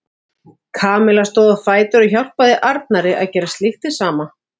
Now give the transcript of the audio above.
Kamilla stóð á fætur og hjálpaði Arnari að gera slíkt hið sama.